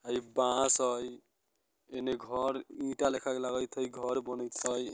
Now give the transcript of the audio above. हई बांस हाई एने घर ईंटा लेखा लगत हई घर बनत हई।